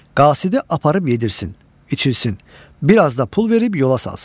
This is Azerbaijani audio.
qasidi aparıb yedirsin, içirsin, biraz da pul verib yola salsın.